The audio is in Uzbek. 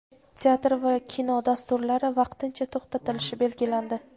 teatr va kino dasturlari vaqtincha to‘xtatilishi belgilandi.